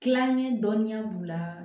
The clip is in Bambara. Tilaŋɛ dɔnniya b'u la